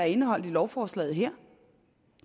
indeholdt i lovforslaget her